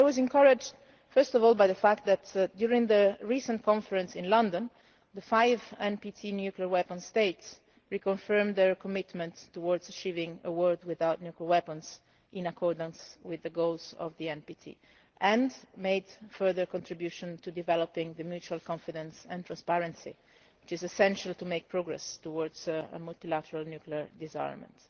say. But I was encouraged first of all by the fact that during the recent conference in London, the five NPT nuclear weapon states reconfirmed their commitment to achieving a world without nuclear weapons, in accordance with the goals of the NPT, and made further contributions to developing the mutual confidence and transparency which is essential to making progress towards multilateral nuclear disarmament.